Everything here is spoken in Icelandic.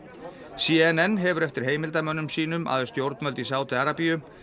c n n hefur eftir heimildamönnum sínum að stjórnvöld í Sádi Arabíu